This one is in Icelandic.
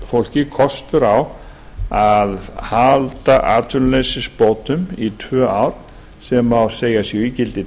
fólki kostur á að halda atvinnuleysisbótum í tvö ár sem má segja að séu ígildi